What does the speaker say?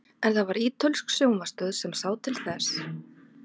en það var ítölsk sjónvarpsstöð sem sá til þess